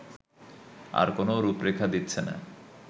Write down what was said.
তারও কোন রূপরেখা দিচ্ছেনা